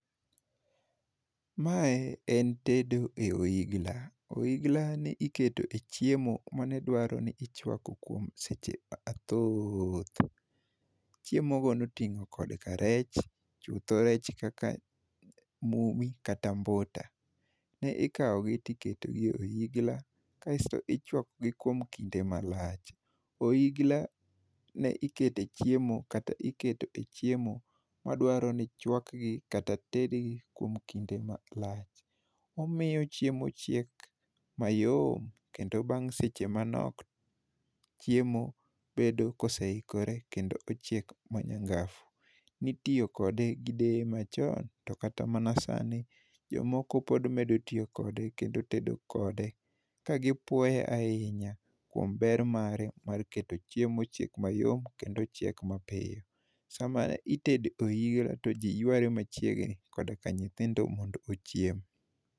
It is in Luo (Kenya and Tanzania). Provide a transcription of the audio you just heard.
Mae en tedo e ohigla. Ohiglani ne iketoe chiemo manedwaro ni ichwako kuom seche mathoth. Chiemogo noting'o kod ka rech. Chutho rech kaka mumi kata mbuta. Ne ikawogi tiketogi ei ohigla kasto ichwakogi kuom kinde malach. Ohigla ne ikete chiemo kata ikete chiemo madwaro ni chwakgi kata tedgi kuom kinde malach. Omiyo chiemo chiek mayom kendo bang' seche manok, chiemo bedo koseikore kendo ochiek ma nyangafu. Ne itiyo kode gi deye machon to kata mana sani, jomoko pod medo tiyo kode kendo tedo kode kagipuoye ahinya kuom ber mare mar keto chiemo ochieg mayom kendo ochieg mapiyo. Sama itedo eohigla to ji yware machiegni koda ka nyithindo mondo ochiem.